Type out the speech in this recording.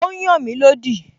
Ó n yàn mí lódì